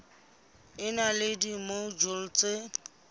e na le dimojule tse